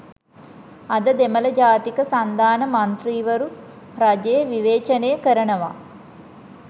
අද දෙමළ ජාතික සන්ධාන මන්ත්‍රීවරු රජය විවේචනය කරනවා